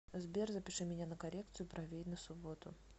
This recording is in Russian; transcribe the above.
сбер запиши меня на коррекцию бровей на субботу